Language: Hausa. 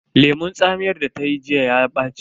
Lemun tsamiyar da ta yi jiya ya ɓaci.